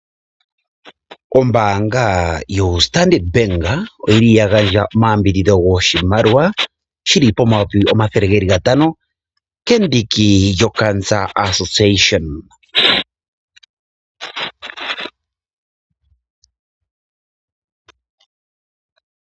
Ombaanga yoStandard Bank oya gandja omayambidhidho goshimaliwa shi li pomayovi omathele gatano kendiki lyokaankela.